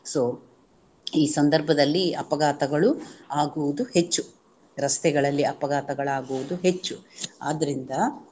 So ಈ ಸಂದರ್ಭದಲ್ಲಿ ಅಪಘಾತಗಳು ಆಗುವುದು ಹೆಚ್ಚು ರಸ್ತೆಗಳಲ್ಲಿ ಅಪಘಾತಗಳಾಗುವುದು ಹೆಚ್ಚು ಆದ್ದರಿಂದ